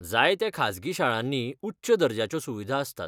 जायत्या खाजगी शाळांनी उच्च दर्जाच्यो सुविधा आसतात.